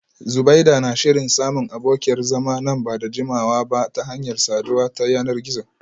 Zubeida na shirin samun abokiyar zama nan ba da jimawa ba ta hanyar saduwa ta yanar gizo